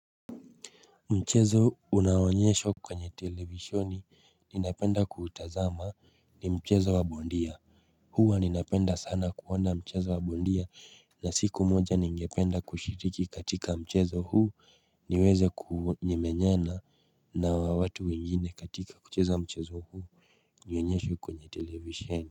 Mchezo unaonyeshwa kwenye televishoni ninapenda kuutazama ni mchezo wa bondia Huwa ninapenda sana kuona mchezo wa bondia na siku moja ningependa kushiriki katika mchezo huu niweze kuhu nyemenyana na watu wengine katika kucheza mchezo huu nionyeshwe kwenye televisheni.